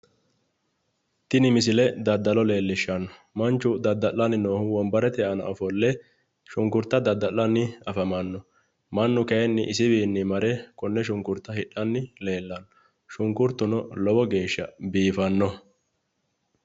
tini misile daddalo leellishshanno manchu dadda'lanni noohu wonbarete aana ofolle shunkurta dadda'lanni afamanno mannu kayiinni isiwiinni mare konne shunkurta hidhanni leellanno shunkurtuno lowo geeshsha biifannoho.